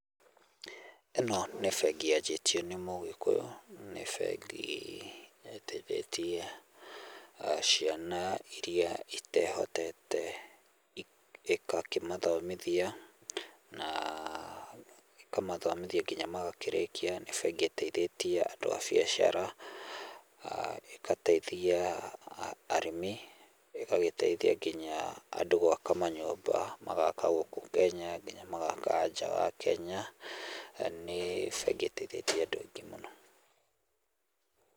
Ĩno nĩ bengi yanjĩtio nĩ mũgĩkũyũ, nĩ bengi ĩteithĩtie, ciana iria itehotete ĩkakĩmathomithia na , ĩkamathomithia nginya magakĩrĩkia. Nĩ bengi ĩteithĩtie andũ a biacara, ĩgateithia arĩmi, ĩgagĩteithia nginya andũ gwaka manyũmba, magaka gũkũ Kenya nginya magaka nja wa Kenya, nĩ bengi ĩteithĩtie andũ aingĩ mũno.